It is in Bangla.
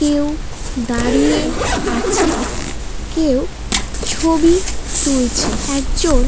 কেউ দাঁড়িয়ে আছে কেউ ছবি তুলছে । একজন --